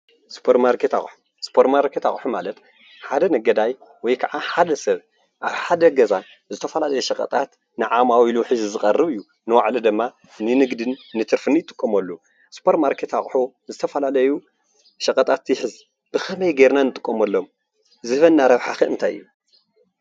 ሱፖር ማርኬት ኣቁሑ ሱፖር ማርኬት ኣቁሑ ማለት ሓደ ነጋዳይ ወይከዓ ሓደ ሰብ ኣብ ሓደ ገዛ ዝተፈላለዩ ሽቀጣት ንዓማዊሉ ሒዙ ዝቐርብ እዩ፤ ንባዕሉ ድማ ንንግድን ንትርፍን ይጥቀመሉ፣ ሱፖርማርኬት ኣቁሑ ዝተፈላለዩ ሽቀጣት ይሕዝ። ብከመይ ገይርና ንጥቀመሎም ዝህበና ረብሓ ክ እንታይ እዩ?